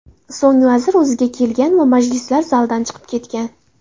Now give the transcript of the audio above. So‘ng vazir o‘ziga kelgan va majlislar zalidan chiqib ketgan.